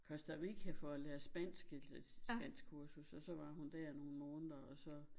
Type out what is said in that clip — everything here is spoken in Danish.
Costa Rica for at lære spansk et et spanskkursus og så var hun der nogen måneder og så